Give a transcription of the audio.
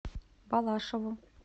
балашову